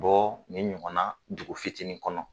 Bɔ ni ɲɔgɔn na dugu fitinin kɔnɔ